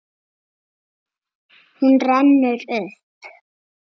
Hún rennur upp.